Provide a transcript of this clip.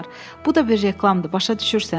Bu da bir reklamdır, başa düşürsən?”